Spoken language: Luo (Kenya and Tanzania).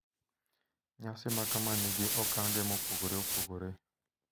Nyasi makama nigi okang`e mopogore opogore.